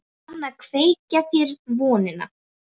Hún kann að kveikja þér vonina.